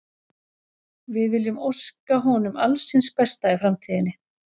Við viljum óska honum alls hins besta í framtíðinni.